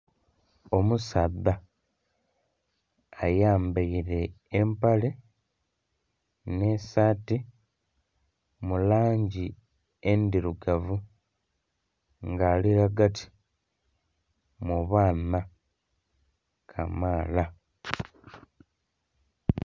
Omusaadha ayambaire empale n'esaati mu langi endhirugavu nga ali ghagati mu baana kamaala.